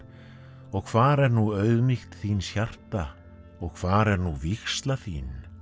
og hvar er nú auðmýkt þíns hjarta og hvar er nú vígsla þín